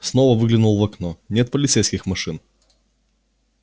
снова выглянул в окно нет полицейских машин